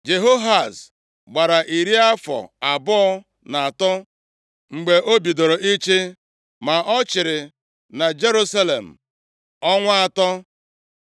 Jehoahaz gbara iri afọ abụọ na atọ mgbe o bidoro ịchị, ma ọ chịrị na Jerusalem ọnwa atọ.